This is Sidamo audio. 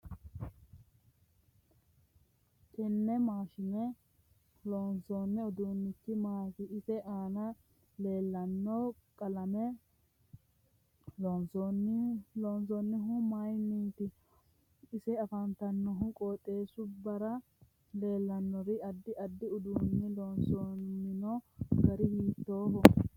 Tenne maashine loonsooni uduunichi maati ise aana leeltano qalame loontinohu mayiiiniti ise afantanno qooxeesubara leelannori addi addi uduuni loosamino gari hiitooho